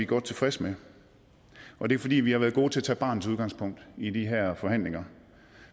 godt tilfredse med og det er fordi vi har været gode til at tage barnets udgangspunkt i de her forhandlinger